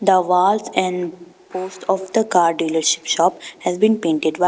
The walls and post of the car dealership shop has been painted white.